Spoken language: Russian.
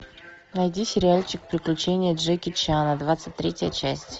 найди сериальчик приключения джеки чана двадцать третья часть